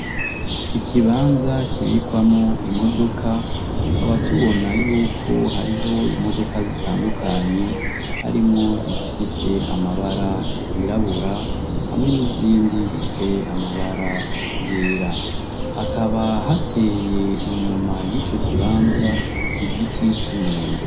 Ikibanza kibikwamwo imodoka, tukaba tubona yuko hariho imodoka zitandukanye harimwo izifise amabara yirabura hamwe n'izindi zifise amabara yera. Hakaba hateye inyuma yico kibanza igiti c'umwembe.